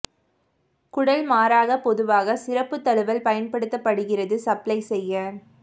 குடல் மாறாக பொதுவாக சிறப்பு தழுவல் பயன்படுத்தப்படுகிறது சப்ளை செய்ய